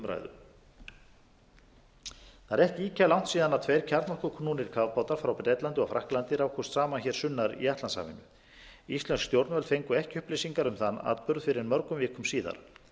er ekki ýkja langt síðan tveir kjarnorkuknúnir kafbátar frá bretlandi og frakklandi rákust saman hér sunnar í atlantshafinu íslensk stjórnvöld fengu ekki upplýsingar um þann atburð fyrr en mörgum vikum síðar